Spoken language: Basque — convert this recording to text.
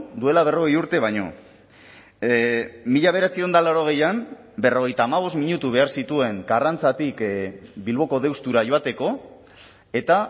duela berrogei urte baino mila bederatziehun eta laurogeian berrogeita hamabost minutu behar zituen karrantzatik bilboko deustura joateko eta